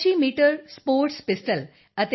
sports pistol ਅਤੇ 10 M